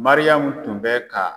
Mariyamu tun bɛ ka